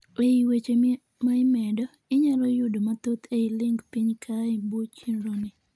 eii weche maa imedo, inyalo yudo mathoth ei link piny kaa ee buo chenro ni